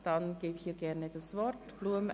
Das Wort hat Grossrätin Blum.